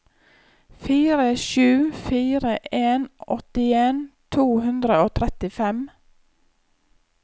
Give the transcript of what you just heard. fire sju fire en åttien to hundre og trettifem